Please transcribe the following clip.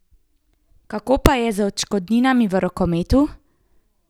Kako pa je z odškodninami v rokometu?